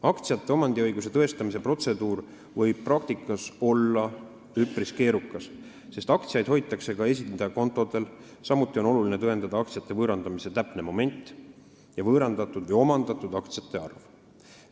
Aktsiate omandiõiguse tõestamise protseduur võib praktikas olla üpris keerukas, sest aktsiaid hoitakse ka esindaja kontodel, samuti on oluline tõendada aktsiate võõrandamise täpset momenti ja võõrandatud või omandatud aktsiate arvu.